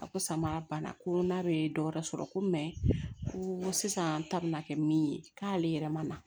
A ko samara banna ko n'a bɛ dɔ wɛrɛ sɔrɔ ko ko sisan ta bina kɛ min ye k'ale yɛrɛ ma